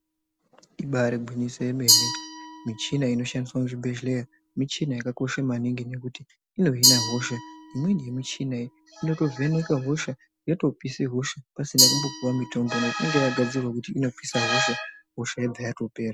Ibaari gwinyiso yemene michina inoshandiswa muzvibhehleya michina yakakosha maningi nekuti inohina hosha. Imweni yemichina iyi inotovheneka hosha, yotopisa hosha pasina kumbopiwa mitombo nekuti unenge wakagadzirirwa kuti unopise hosha, hosha inobva yatopera.